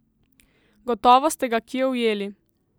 Gotovo ste ga kje ujeli?